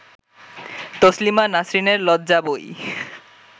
তসলিমা নাসরিনের লজ্জা বই